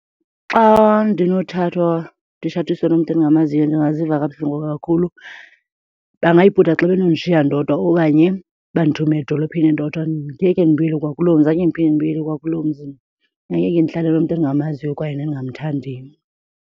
Xa ndinothathwa nditshatiswe nomntu endingamaziyo ndingaziva kabuhlungu kakhulu. Bangayibhuda xa benondishiya ndodwa okanye bandithume edolophini ndodwa. Ngeke ndibuyele kwakuloo mzi, angeke ndiphinde ndibuyele kwakuolo mzi mna. Angeke ndihlale nomntu endingamaziyo kwaye nendingamthandiyo.